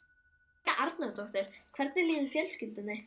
Helga Arnardóttir: Hvernig líður fjölskyldunni?